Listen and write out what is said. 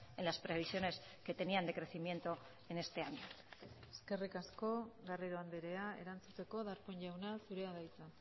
en las previsiones que tenían de crecimiento en este año eskerrik asko garrido andrea erantzuteko darpón jauna zurea da hitza